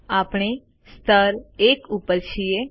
આપણે સ્તર 1 ઉપર છીએ